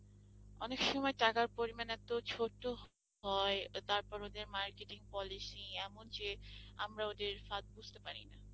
অনেক সময় টাকার পরিমাণ এত ছোট হয়, তারপর ওদের marketing Policy এমন যে আমরা ওদের ফাঁদ বুঝতে পারি না।